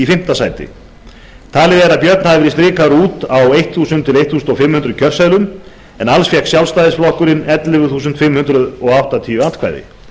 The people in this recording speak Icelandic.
fimmta sæti talið er að björn hafi verið strikaður út á þúsund til fimmtán hundruð kjörseðlum en alls fékk sjálfstæðisflokkurinn ellefu þúsund fimm hundruð áttatíu atkvæði